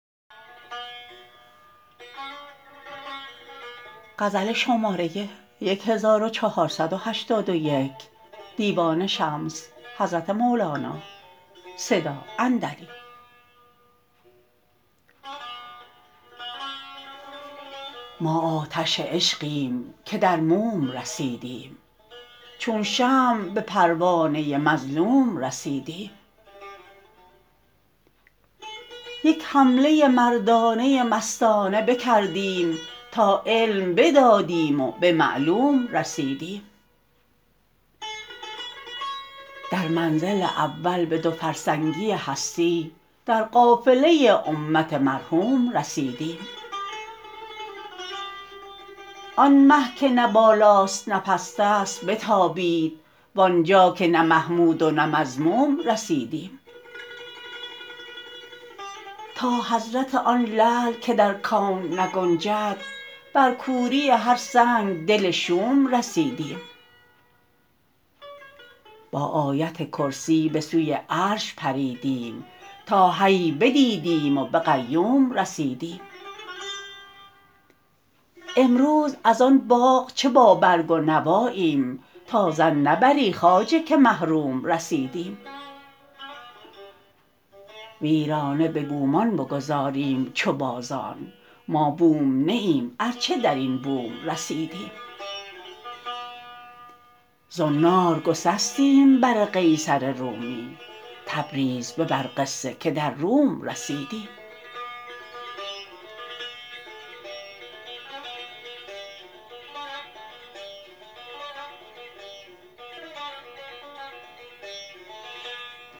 ما آتش عشقیم که در موم رسیدیم چون شمع به پروانه مظلوم رسیدیم یک حمله مردانه مستانه بکردیم تا علم بدادیم و به معلوم رسیدیم در منزل اول به دو فرسنگی هستی در قافله امت مرحوم رسیدیم آن مه که نه بالاست نه پست است بتابید وآن جا که نه محمود و نه مذموم رسیدیم تا حضرت آن لعل که در کون نگنجد بر کوری هر سنگ دل شوم رسیدیم با آیت کرسی به سوی عرش پریدیم تا حی بدیدیم و به قیوم رسیدیم امروز از آن باغ چه بابرگ و نواییم تا ظن نبری خواجه که محروم رسیدیم ویرانه به بومان بگذاریم چو بازان ما بوم نه ایم ار چه در این بوم رسیدیم زنار گسستیم بر قیصر رومی تبریز ببر قصه که در روم رسیدیم